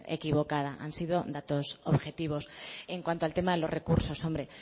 equivocada han sido datos objetivos en cuanto al tema de los recursos